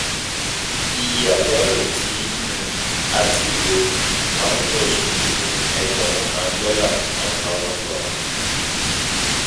Iye àyálò tí um a um ti lò um tán ní oṣù yìí ni ẹgbẹ̀rún kán dọ́là ($ one thousand )